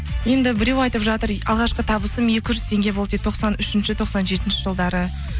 енді біреу айтып жатыр алғашқы табысым екі жүз теңге болды дейді тоқсан үшінші тоқсан жетінші жылдары